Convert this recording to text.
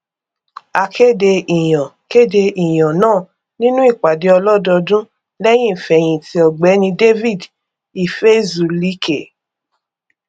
a kéde ìyàn kéde ìyàn náà nínú ìpàdé ọlọdọọdún lẹyìn ìfẹhìntì ọgbẹni david ifezulike